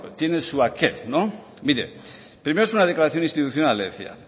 tiene su aquel mire primero es una declaración institucional le decía